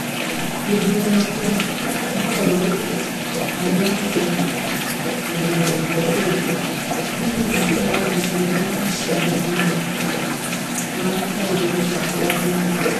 Gĩthurano kĩa moogarũrũku arĩa matũgagĩria bũrũri: Hihi Zitto na Jussa nĩ macindano ma ma kana nĩ mĩbango ya thĩinĩ